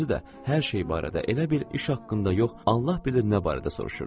Qarnın özü də hər şey barədə elə bil iş haqqında yox, Allah bilir nə barədə soruşurdu.